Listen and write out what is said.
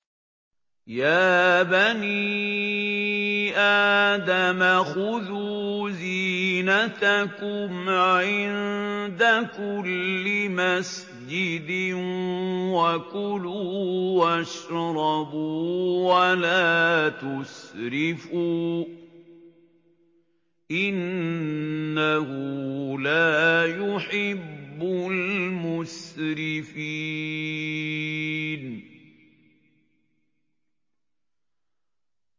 ۞ يَا بَنِي آدَمَ خُذُوا زِينَتَكُمْ عِندَ كُلِّ مَسْجِدٍ وَكُلُوا وَاشْرَبُوا وَلَا تُسْرِفُوا ۚ إِنَّهُ لَا يُحِبُّ الْمُسْرِفِينَ